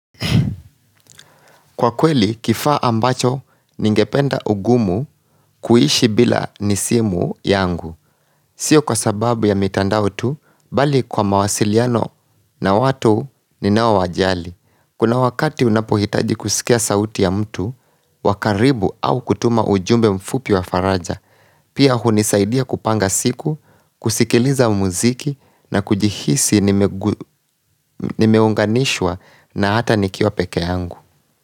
Kwa kweli, kifaa ambacho ningependa ugumu kuishi bila nisimu yangu. Siyo kwa sababu ya mitandao tu, bali kwa mawasiliano na watu ninao wajali. Kuna wakati unapohitaji kusikia sauti ya mtu, wakaribu au kutuma ujumbe mfupi wa faraja. Pia hunisaidia kupanga siku, kusikiliza muziki na kujihisi nimeunganishwa na hata nikiwa peke yangu.